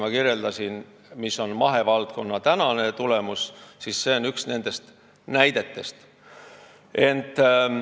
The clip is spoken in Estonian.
Ma kirjeldasin ühte nendest näidetest, kui rääkisin, milline on praegu mahevaldkonna tulemus.